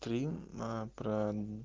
три а про